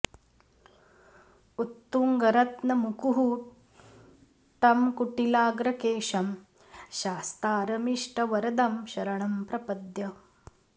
उत्तुङ्गरत्न मुकुः टं कुटिलाग्र केशं शास्तारमिष्ट वरदं शरणं प्रपद्य